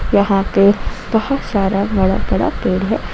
यहां पे बहुत सारा बड़ा बड़ा पेड़ है।